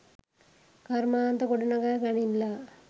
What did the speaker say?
කර්මාන්ත ගොඩනගා ගනිල්ලා.